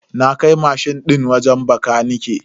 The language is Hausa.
Na kai mashin din wajen bakanike.